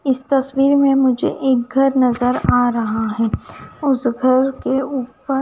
इस तस्वीर में मुझे एक घर नजर आ रहा है उस घर के ऊपर--